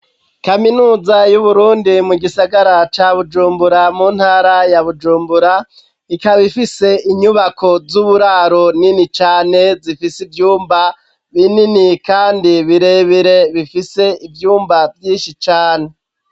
Kaminuza y'Uburundi mu gisagara ca Bujumbura mu ntara ya Bujumbura, ikaba ifise inyubako z'uburaro nini cane zifise ivyumba binini kandi birebire bifise ivyumba vyinshi cane.